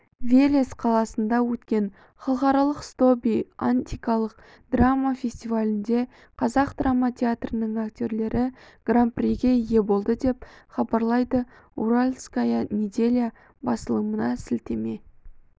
велес қаласында өткен халықаралық стоби антикалық драма фестивалінде қазақ драма театрының актерлері гран-приге ие болды деп хабарлайды уральская неделя басылымына сілтеме